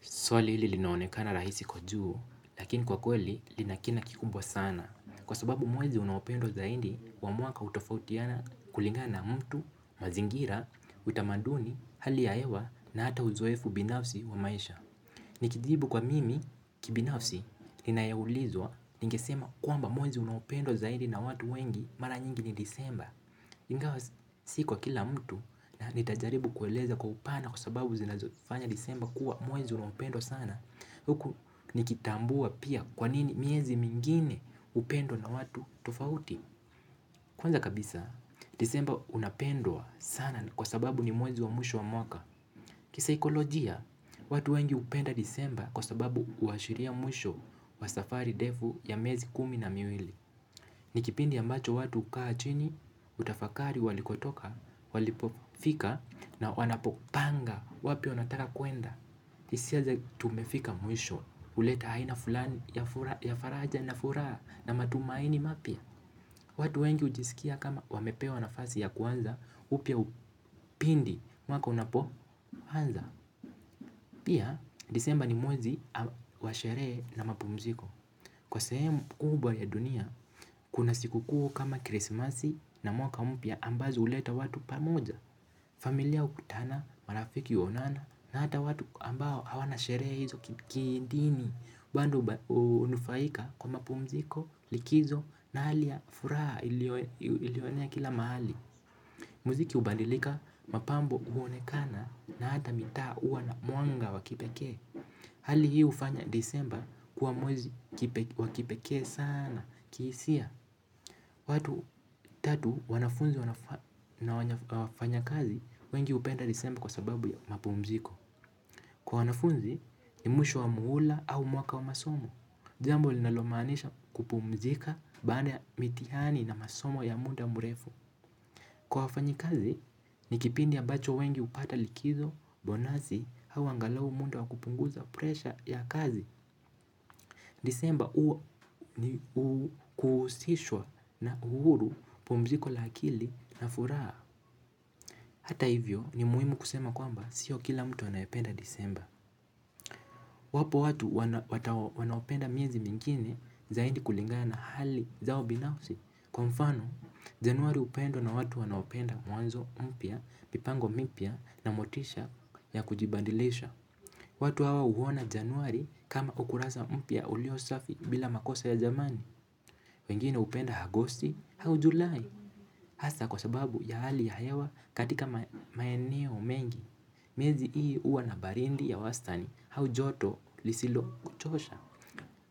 Swali hili linaonekana rahisi kujua lakini kwa kweli linakina kikubwa sana. Kwa sababu mwezi unawependwa zaidi wa mwaka utofautiana kulingana na mtu, mazingira, utamaduni, hali ya hewa na hata uzoefu binafsi wa maisha. Nikijibu kwa mimi kibinafsi linayeulizwa nikesema kuamba mwezi unawependo zaidi na watu wengi mara nyingi ni disemba. Ingawa sikuwa kila mtu na nitajaribu kueleza kwa upana kwa sababu zinazofanya disemba kuwa mwezi unapendwa sana huku nikitambua pia kwanini miezi mingine upendo na watu tofauti. Kwanza kabisa, disemba unapendwa sana kwa sababu ni mwezi wa mwisho wa mwaka. Kisaikolojia, watu wengi upenda disemba kwa sababu uashiria mwisho wa safari defu ya miezi kumi na miwili. Nikipindi yambacho watu kaa chini, utafakari walikotoka, walipofika na wanapopanga wapi wanataka kuenda. Isia za tumefika muisho, uleta haina fulani ya faraja na furaha na matumaini mapya. Watu wengi ujisikia kama wamepewa nafasi ya kuanza upia upindi mwaka unapoanza pia desemba ni mwezi mwezi wa sherehe na mapumziko kwa sehemu kubwa ya dunia kuna siku kuu kama ya krismasi na mwaka mpya ambazo huleta watu pamoja. Familia ukutana, marafiki uonana na hata watu ambao hawana sherehe hizo kidini. Bando unufaika kwa mapumziko likizo na hali ya furaha ilio enea kila mahali. Miziki hubadalika mapambo huonekana na hata mitaa huwa na mwanga wa kipekee. Hali hii ufanya disemba kuwa mwezi wakipekee sana kihisia. Watu tatu wanafunzi na wafanya kazi wengi upenda disemba kwa sababu ya mapumziko. Kwa wanafunzi ni mwisho wa muula au mwaka wa masomo. Jambo linalomaanisha kupumzika baada ya mitiani na masomo ya muda murefu. Kwa wafanyi kazi ni kipindi ambacho wengi upata likizo bonasi au angalau munda wakupunguza presha ya kazi. Disemba uo ni kuhusishwa na uhuru pumziko la akili na furaha. Hata hivyo ni muhimu kusema kwamba sio kila mtu anaependa disemba. Wapo watu wanaopenda miezi mingine zaidi kulingana hali zao binafsi. Kwa mfano januari upendwa na watu wanaopenda muanzo mpya, pipango mipia na motisha ya kujibandilesha. Watu hawa huona januari kama ukurasa umpya ulio safi bila makosa ya zamani. Wengine upenda agosti, hau julai, hasa kwa sababu ya hali ya hewa katika maeneo mengi, miezi ii uwa na barindi ya wastani, hau joto lisilo kuchosha.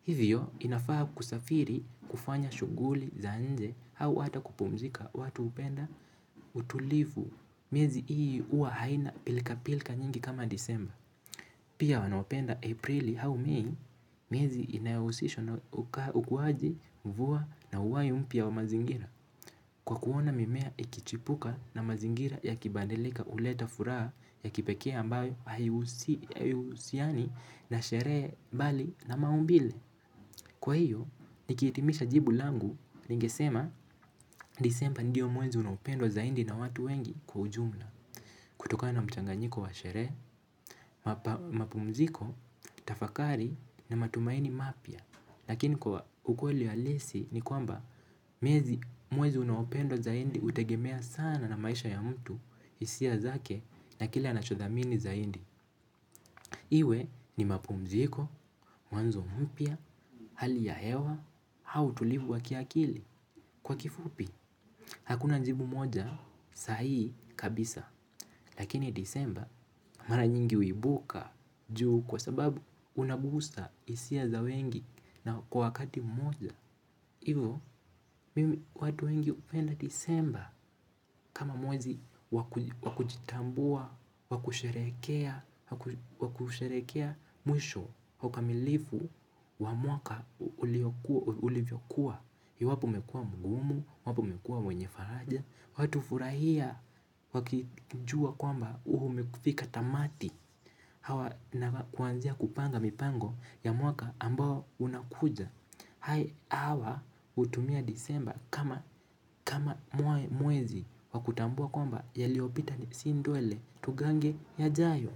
Hivyo inafaa kusafiri kufanya shuguli ya nje hau hata kupumzika watu upenda utulivu miezi hii huwa haina pilka pilka kama disemba. Pia wanaopenda Aprili hau mei, miezi inayahusishwa na ukuwaji mvua na uhai mpya wa mazingira. Kwa kuona mimea ikichipuka na mazingira ya kibadilika uleta furaha ya kipekea ambayo ayuhusiani na sherehe bali na maumbile. Kwa hiyo, nikiitimisha jibu langu ningesema disemba ndiyo mwezi unapendo zaindi na watu wengi kwa ujumla. Kutoka na mchanganyiko wa sherehe, mapumziko, tafakari na matumaini mapya lakini kwa ukweli halisi ni kwamba mwezi unaopendwa zaindi utegemea sana na maisha ya mtu isia zake na kile anachodhamini zaindi. Iwe ni mapumziko, mwanzo mpya, hali ya hewa, hau utulivu wakiakili kwa kifupi. Hakuna njibu moja sahihi kabisa lakini disemba mara nyingi uibuka juu kwa sababu unagusa isia za wengi na kwa wakati moja. Iyo watu wengi upenda disemba kama mwezi wakujitambua, wakusherehekea, wakusherehekea mwisho ukamilifu wa mwaka ulivyokuwa. Wapo umekua mgumu, wapo umekua mwenye faraja. Watufurahia wakijua kwamba umekufika tamati. Hawa na kuanzia kupanga mipango ya mwaka ambao unakuja. Hai hawa utumia disemba kama mwezi wakutambua kwamba yaliopita ni si ndwele tugange ya jayo.